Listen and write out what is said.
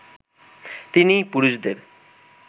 তিনি পুরুষদের